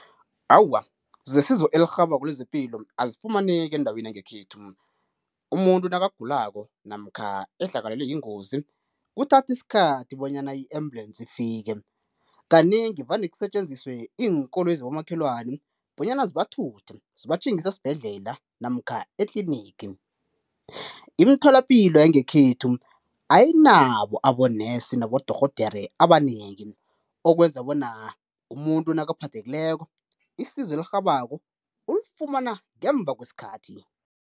Awa, zesizo elirhabako lezepilo azifumaneki endaweni yangekhethu, umuntu nakagulako namkha ehlakalelwe yingozi kuthatha isikhathi bonyana i-ambulensi ifike, kanengi vane kusetjenziswe iinkoloyi zabomakhelwani bonyana zibathuthe zibatjhingise esibhedlela namkha etlinigi. Imtholapilo yangekhethu ayinabo abonesi nabodorhodere abanengi okwenza bona umuntu nakaphathekileko isizo elirhabako ulifumana ngemva kwesikhathi.